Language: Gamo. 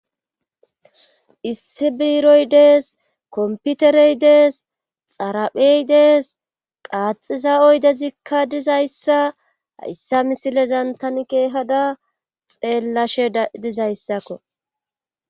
issi biiroy dees komputerey dees xaraphey dees qaaxiza oydezikka dizayssa hayssa misile zantan keehada xeellashe dizayssakko